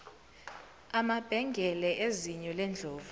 amabhengele ezinyo lendlovu